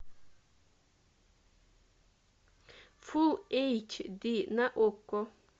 фул эйч ди на окко